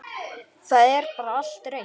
Það er bara allt reynt.